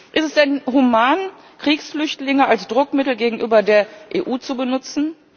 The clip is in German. Ist es denn human, Kriegsflüchtlinge als Druckmittel gegenüber der EU zu benutzen?